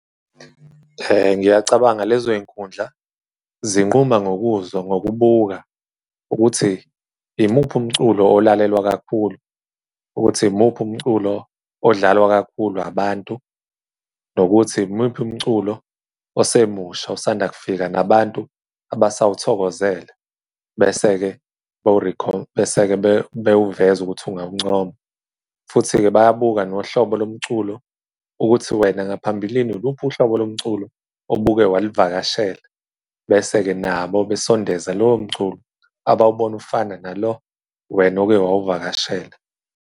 Ngiyacabanga lezo zinkundla zinquma ngokuzo ngokubuka ukuthi imuphi umculo olalelwa kakhulu, ukuthi imuphi umculo odlalwa kakhulu abantu, nokuthi imuphi umculo osemusha osanda kufika nabantu abasawuthokozele? Bese-ke bewuveze ukuthi ungawuncoma, futhi-ke bayabuka nohlobo lomculo, ukuthi wena ngaphambilini uluphi uhlobo lomculo obuke walivakashela? Bese-ke nabo besondeza lowo mculo abawubona ufana nalo wena oke wawuvakashela.